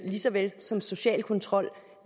lige så vel som social kontrol